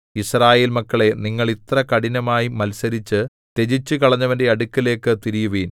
യിസ്രായേൽ മക്കളേ നിങ്ങൾ ഇത്ര കഠിനമായി മത്സരിച്ചു ത്യജിച്ചുകളഞ്ഞവന്റെ അടുക്കലേക്ക് തിരിയുവിൻ